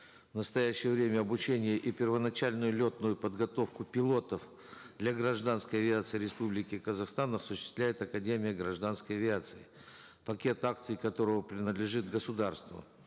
в настоящее время обучение и первоначальную летную подготовку пилотов для гражданской авиации республики казахстан осуществляет академия гражданской авиации пакет акций которой принадлежит государству